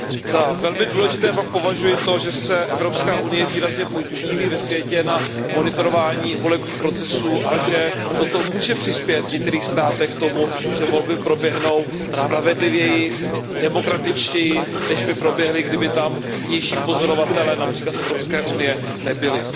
Za velmi důležité pak považuji to, že se Evropská unie výrazně podílí ve světě na monitorování volebních procesů a že toto může přispět v některých státech k tomu, že volby proběhnou spravedlivěji, demokratičtěji než by proběhly, kdyby tam vnější pozorovatelé, například z Evropské unie, nebyli.